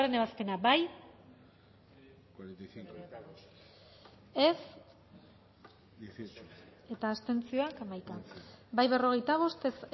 ebazpena bozkatu dezakegu bozketaren emaitza onako izan da hirurogeita hamalau eman dugu bozka berrogeita bost boto aldekoa